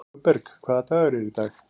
Hugberg, hvaða dagur er í dag?